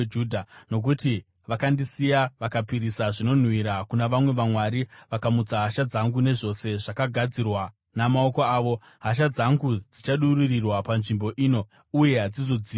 Nokuti vakandisiya vakapisira zvinonhuhwira kuna vamwe vamwari vakamutsa hasha dzangu nezvose zvakagadzirwa namaoko avo, hasha dzangu dzichadururirwa panzvimbo ino uye hadzizodzimurwi.’